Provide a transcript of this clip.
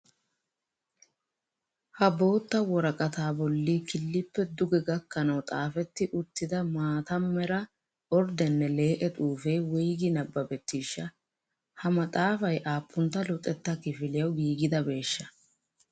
Ha bootta woraqataa bolli killippe duge gakanawu xaafetti uttida maata mera orddene lee'e xufee woygi nabbabettiishsha? Ha maxaafay appuntta luxettaa kifiliyawu giigidabeeshsha?